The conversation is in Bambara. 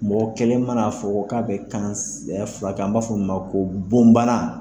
Mɔgɔ kelen man'a fɔ k'a bɛ kan furakɛ , an b'a fɔ min ma ko bon bana